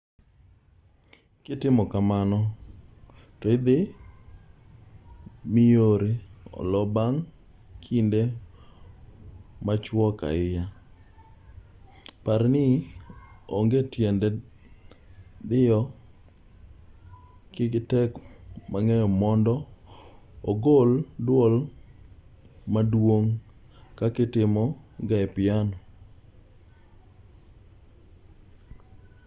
kitimo kamano to idhi miyori olo bang' kinde machuok ahinya par ni onge tiende diyo ki ge gi teko mang'eny mondo ogol dwol maduong' kaka itimo ga e piano